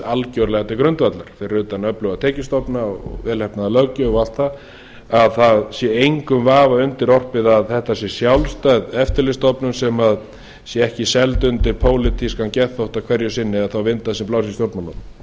algerlega til grundvallar fyrir utan öfluga tekjustofna vel heppnaða löggjöf og allt það að það sé engum vafa undirorpið að þetta sé sjálfstæð eftirlitsstofnun sem sé ekki seld undir pólitískan geðþótta hverju sinni eða þá vinda sem blása í stjórnmálunum og